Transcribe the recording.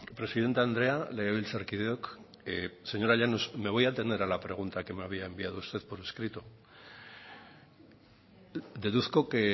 presidente andrea legebiltzarkideok señora llanos me voy a atener a la pregunta que me había enviado usted por escrito deduzco que